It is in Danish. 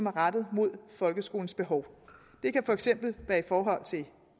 er rettet mod folkeskolens behov det kan for eksempel være i forhold til